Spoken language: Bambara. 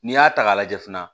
N'i y'a ta k'a lajɛ fana